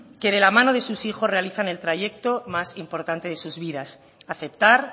que de la mano de sus hijos realizan el trayecto más importante de sus vidas aceptar